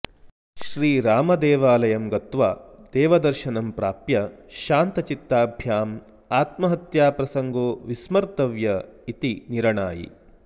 श्रीरामदेवालयं गत्वा देवदर्शनं प्राप्य शान्तचित्ताभ्यामात्महत्याप्रसड्गो विस्मर्तव्य इति निरणायि